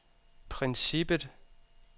princippet